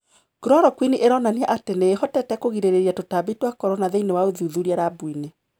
Chloroquine iraonania ati niihotete kũgirĩrĩria tũtambi twa corona thiinie wa ũthûthurĩa labu-ini.